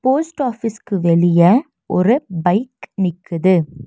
Post ஆஃபீஸ்க்கு வெளிய ஒரு பைக் நிக்குது.